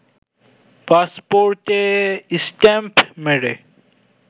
পাসপোর্টে স্ট্যাম্প মেরে